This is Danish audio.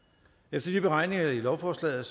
ifølge beregningerne i lovforslaget